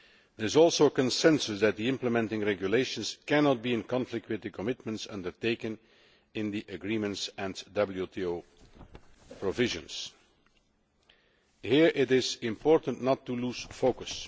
There is also a consensus that the implementing regulations cannot be in conflict with the commitments undertaken in the agreements and WTO provisions. Here it is important not to lose focus.